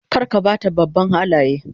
Kar ka ba ta babban Halaye